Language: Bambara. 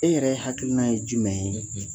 E yɛrɛ hakili na ye jumɛn ye?